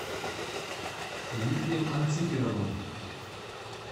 дмитрием анциферовым